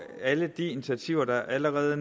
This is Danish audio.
alle de initiativer der allerede